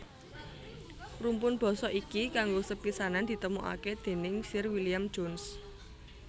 Rumpun basa iki kanggo sepisanan ditemokaké déning Sir William Jones